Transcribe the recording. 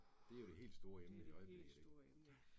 Det jo det helt store emne i øjeblikket, ik, ja